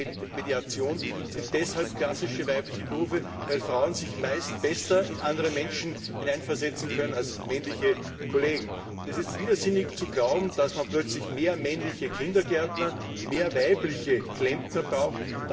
Marketing und Mediation sind deshalb klassische weibliche Berufe, weil Frauen sich meist besser in andere Menschen hineinversetzen können als männliche Kollegen. Es ist widersinnig zu glauben, dass man plötzlich mehr männliche Kindergärtner, mehr weibliche Klempner braucht.